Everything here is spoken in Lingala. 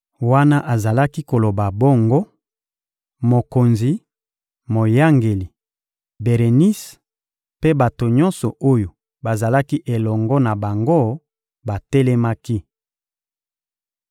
Wana azalaki koloba bongo, mokonzi, moyangeli, Berenise mpe bato nyonso oyo bazalaki elongo na bango batelemaki.